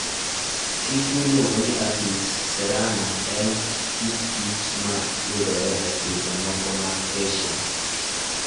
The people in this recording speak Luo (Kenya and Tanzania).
Kich miluongo ni Apis cerana en kit kich ma yudore e pinje moko mag Asia.